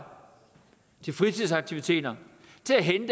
fritidsaktiviteter